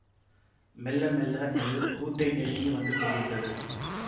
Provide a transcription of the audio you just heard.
மெள்ள மெள்ள அது கூட்டை நெருங்கி வந்து கொண்டிருந்தது